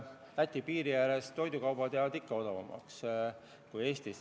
Läti piiri ääres jäävad ka toidukaubad odavamaks kui Eestis.